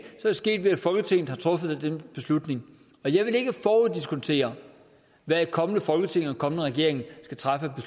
det sket ved at folketinget har truffet den beslutning og jeg vil ikke foruddiskontere hvad et kommende folketing og en kommende regering skal træffe af